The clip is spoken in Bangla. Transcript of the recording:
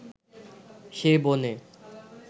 সে বনে